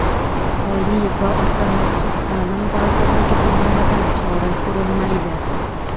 Oliy va o‘rta maxsus ta’lim vazirligi tomonidan chora ko‘rilmaydi.